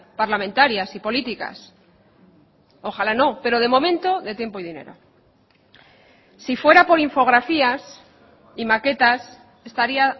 parlamentarias y políticas ojalá no pero de momento de tiempo y dinero si fuera por infografías y maquetas estaría